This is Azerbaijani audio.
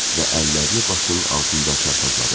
Və əllərini başının altında çarpazladı.